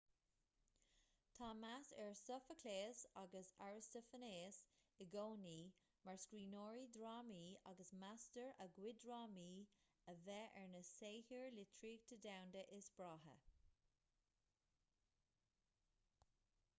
tá meas ar sofaicléas agus arastafainéas i gcónaí mar scríbhneoirí drámaí agus meastar a gcuid drámaí a bheith ar na saothair litríochta domhanda is breátha